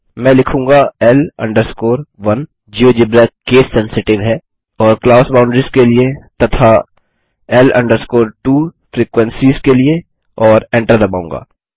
मैं लिखूँगा L 1 GeoGebra skill sensitive और क्लास बाउंडरीज के लिए तथा L 2 फ्रीक्वेंसीज के लिए और एंटर दबाऊँगा